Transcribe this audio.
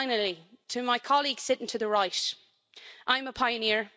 Finally, to my colleague sitting to the right I'm a pioneer.